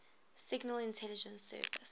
signal intelligence service